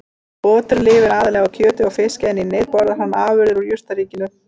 Oturinn lifir aðallega á kjöti og fiski en í neyð borðar hann afurðir úr jurtaríkinu.